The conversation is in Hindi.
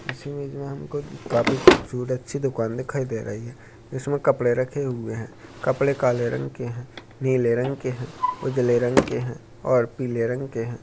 इस इमेज काफी खूबसूरत अच्छी दुकान दिखाई दे रही है इसमें कपड़े रखे हुए हैं कपड़े काले रंग के हैं नीले रंग के हैं उजाले रंग के हैं और पीले रंग के हैं।